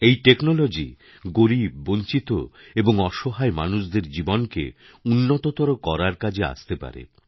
এইটেকনোলজি গরীব বঞ্চিত এবং অসহায় মানুষদের জীবনকে উন্নততর করার কাজে আসতে পারে